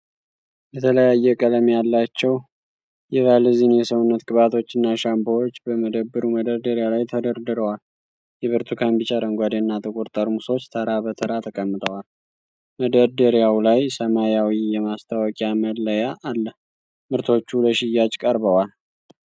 የተለያየ ቀለም ያላቸው የቫዝሊን የሰውነት ቅባቶችና ሻምፖዎች በመደብሩ መደርደሪያ ላይ ተደርድረዋል። የብርቱካን፣ ቢጫ፣ አረንጓዴና ጥቁር ጠርሙሶች ተራ በተራ ተቀምጠዋል። መደርደሪያው ላይ ሰማያዊ የማስታወቂያ መለያ አለ። ምርቶቹ ለሽያጭ ቀርበዋል።